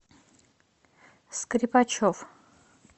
скрипачев